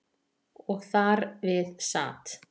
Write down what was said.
Og þar við sat.